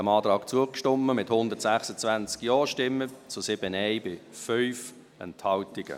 Sie haben diesem Antrag zugestimmt, mit 126 JaStimmen bei 5 Enthaltungen.